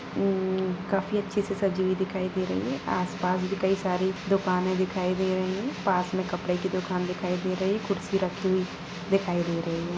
उम्म काफी अच्छे से सजी हुई दिखाई दे रही है आसपास भी कई सारे दुकाने दिखाई दे रहे हैं पास में कपड़े की दुकान दिखाई दे रही है कुर्सी रखी हुई दिखाई दे रही है।